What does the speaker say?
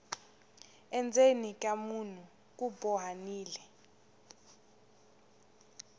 endzeni ka munhu ku bohanile